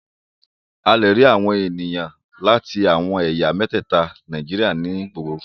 A lè rí àwọn ènìyàn láti àwọn ẹ̀yà mẹ́tẹ̀ẹta Nàíjíríà ní ìgboro.